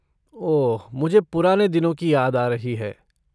ओह, मुझे पुराने दिनों की याद आ रही है।